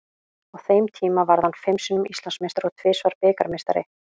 Á þeim tíma varð hann fimm sinnum Íslandsmeistari og tvisvar bikarmeistari.